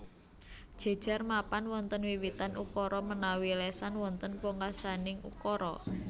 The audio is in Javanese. Jejer mapan wonten wiwitan ukara menawi lesan wonten pungkasaning ukara